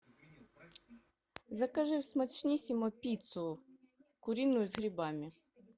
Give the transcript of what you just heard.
закажи в смачниссимо пиццу куриную с грибами